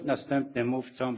Herr Präsident!